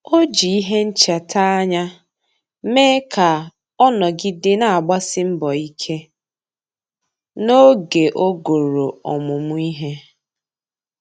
Ọ́ jì ìhè nchètà ányá mee ka ọ́ nọ́gídè nà-àgbàsí mbọ̀ ike n’ógè ogòrò ọmụ́mụ́ ìhè.